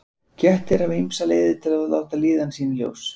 Kettir hafa ýmsar leiðir til að láta líðan sína í ljós.